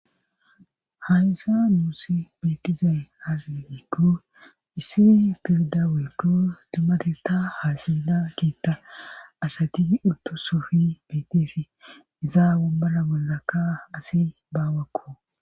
Hayssa muusi biitizay haasa gikku issi firda wekku dummate ta haasabida kiitta asati utto sofi biiteesi izaa wombala bollakka asi baawakko